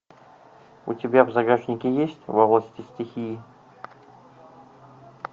у тебя в загашнике есть во власти стихии